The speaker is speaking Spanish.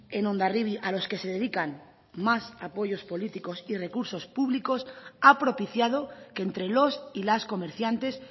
en hondarribia a los que se dedican más apoyos políticos y recursos públicos ha propiciado que entre los y las comerciantes